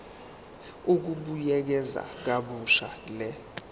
ukubuyekeza kabusha le